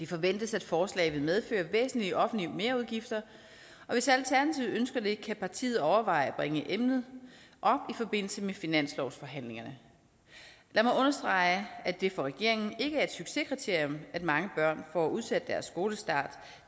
forventes at forslaget vil medføre væsentlige offentlige merudgifter og hvis alternativet ønsker det kan partiet overveje at bringe emnet op i forbindelse med finanslovsforhandlingerne lad mig understrege at det for regeringen ikke er et succeskriterium at mange børn får udsat deres skolestart